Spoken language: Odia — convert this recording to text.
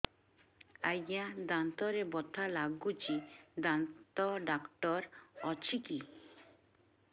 ଆଜ୍ଞା ଦାନ୍ତରେ ବଥା ଲାଗୁଚି ଦାନ୍ତ ଡାକ୍ତର ଅଛି କି